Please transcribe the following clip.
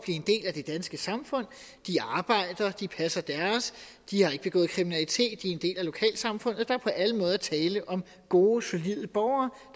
en del af det danske samfund de arbejder de passer deres de har ikke begået kriminalitet de er en del af lokalsamfundet og der er på alle måder tale om gode solide borgere